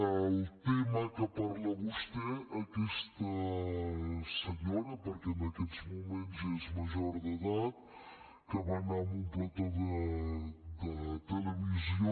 en el tema que parla vostè aquesta senyora perquè en aquests moments és major d’edat que va anar a un plató de televisió